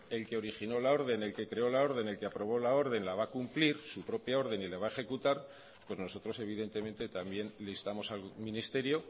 que el que originó la orden el que creó la orden el que aprobó la orden la va a cumplir su propia orden y la va a ejecutar pues nosotros evidentemente también le instamos al ministerio